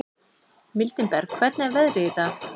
Mildinberg, hvernig er veðrið í dag?